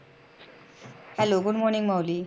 hellogood morning Mauli.